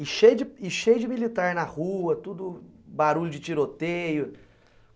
E cheio e cheio de militar na rua, tudo barulho de tiroteio.